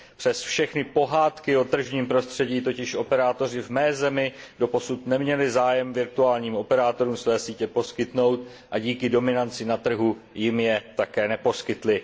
Přes všechny pohádky o tržním prostředí totiž operátoři v mé zemi doposud neměli zájem virtuálním operátorům své sítě poskytnout a díky dominanci na trhu jim je také neposkytli.